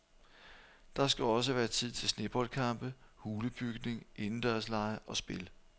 Der skal også være tid til sneboldkampe, hulebygning, indendørslege og spil.